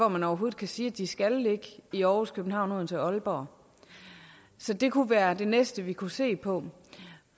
man overhovedet kan sige at de skal ligge i aarhus københavn odense og aalborg så det kunne være det næste vi kunne se på